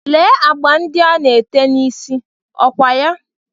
Lee agba ndị a ana-ete n'isí, ọ kwa ya?